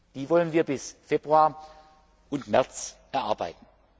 Die wollen wir bis Februar, März erarbeiten.